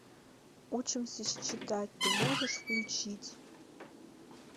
учимся считать ты можешь включить